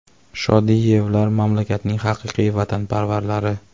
Shodiyevlar mamlakatning haqiqiy vatanparvarlari.